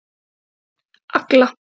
Agla